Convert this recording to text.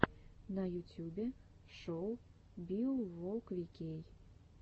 на ютюбе шоу биоволквикей